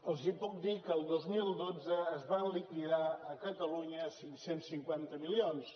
els puc dir que el dos mil dotze es van liquidar a catalunya cinc cents milions